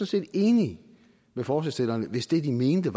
set enig med forslagsstillerne hvis det de mener